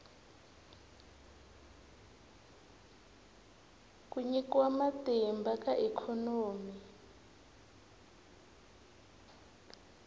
ku nyikiwa matimba ka ikhonomi